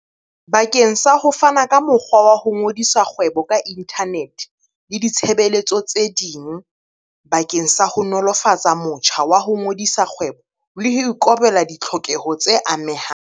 bakeng sa ho fana ka mokgwa wa ho ngodisa kgwebo ka inthanete le ditshebeletso tse ding bakeng sa ho nolofatsa motjha wa ho ngodisa kgwebo le ho ikobela ditlhokeho tse amehang.